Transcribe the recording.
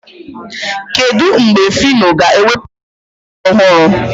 Kedụ mgbe Fino ga-ewepụta egwu ọhụrụ?